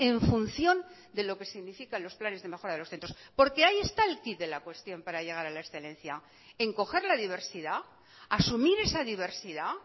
en función de lo que significa los planes de mejora de los centros porque hay esta el quid de la cuestión para llegar a la excelencia en coger la diversidad asumir esa diversidad